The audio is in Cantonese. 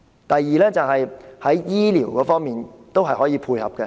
第二，在醫療方面，政府可以有政策配合。